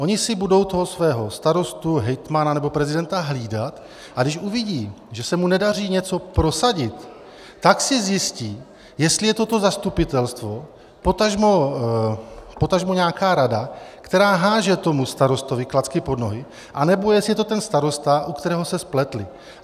Oni si budou toho svého starostu, hejtmana nebo prezidenta hlídat, a když uvidí, že se mu nedaří něco prosadit, tak si zjistí, jestli je to to zastupitelstvo, potažmo nějaká rada, která hází tomu starostovi klacky pod nohy, anebo jestli je to ten starosta, u kterého se spletli.